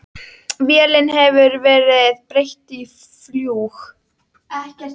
Vélinni hefur verið breytt í fljúg